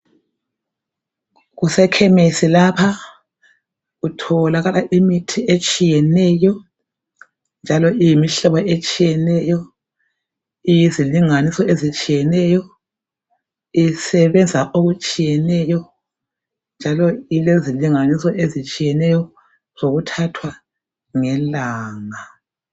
Kusekhemesi lapha kutholakala imithi etshiyeneyo njalo iyimihlobo etshiyeneyo, iyizilinganiso ezitshiyeneyo, isebebenza okutshiyeneyo njalo ilezilinganiso ezitshiyeneyo zokuthathwa ngelanga.